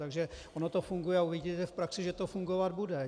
Takže ono to funguje a uvidíte v praxi, že to fungovat bude.